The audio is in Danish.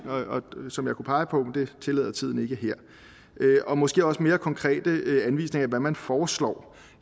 som jeg kunne pege på men det tillader tiden ikke her og måske også mere konkrete anvisninger på hvad man foreslår